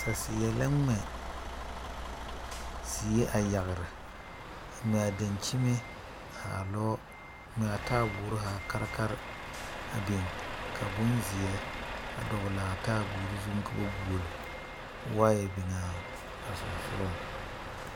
Saseɛ la gmɛ yiri a yagre. O gmɛ la a daŋkyime zaa lɔɔ, a gmɛ a taaboore zaa karekare a biŋ kyɛ Bonzeɛ a dɔgle a taaboore zu. Waayɛ biŋ la a sɔŋsɔgleŋsɔgɔ.